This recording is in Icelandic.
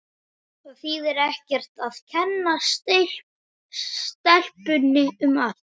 Það þýðir ekkert að kenna stelpunni um allt.